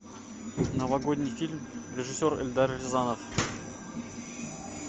новогодний фильм режиссер эльдар рязанов